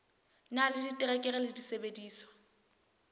na le diterekere le disebediswa